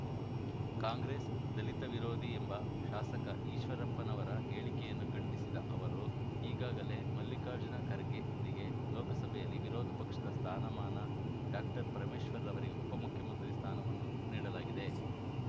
ಕಾಂಗ್ರೆಸ್‌ ದಲಿತ ವಿರೋಧಿ ಎಂಬ ಶಾಸಕ ಈಶ್ವರಪ್ಪನವರ ಹೇಳಿಕೆಯನ್ನು ಖಂಡಿಸಿದ ಅವರು ಈಗಾಗಲೇ ಮಲ್ಲಿಕಾರ್ಜುನ ಖರ್ಗೆರಿಗೆ ಲೋಕಸಭೆಯಲ್ಲಿ ವಿರೋಧಪಕ್ಷದ ಸ್ಥಾನಮಾನ ಡಾಪರಮೇಶ್ವರ್‌ರವರಿಗೆ ಉಪಮುಖ್ಯಮಂತ್ರಿ ಸ್ಥಾನವನ್ನು ನೀಡಲಾಗಿದೆ